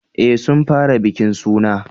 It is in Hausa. Eh sun fara bikin suna